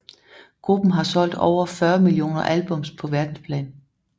Gruppen har solgt over 40 millioner albums på verdensplan